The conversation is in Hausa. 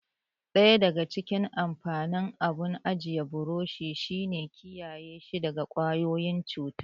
Daya daga cikin amfanin abun ajiya burushi shi ne kiyaye shi daga ƙwayoyin cuta.